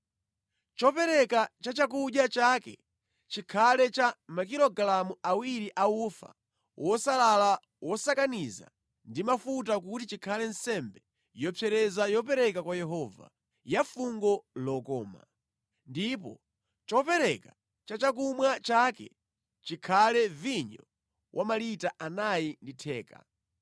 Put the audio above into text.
Chopereka chachakudya chake chikhale cha makilogalamu awiri a ufa wosalala wosakaniza ndi mafuta kuti chikhale nsembe yopsereza yopereka kwa Yehova, ya fungo lokoma. Ndipo chopereka cha chakumwa chake chikhale vinyo wa malita anayi ndi theka.